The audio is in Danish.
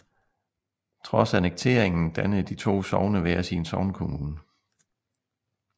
Trods annekteringen dannede de to sogne hver sin sognekommune